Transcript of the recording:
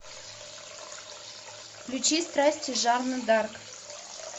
включи страсти жанны д арк